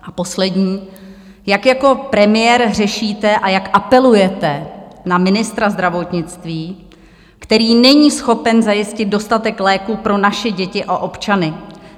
A poslední: Jak jako premiér řešíte a jak apelujete na ministra zdravotnictví, který není schopen zajistit dostatek léků pro naše děti a občany?